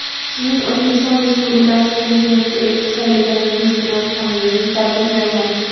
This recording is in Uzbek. Sizning O‘zbekiston Respublikasi Prezidenti etib saylanganingiz bilan samimiy tabriklayman.